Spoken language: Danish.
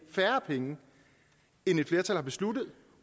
færre penge end et flertal har besluttet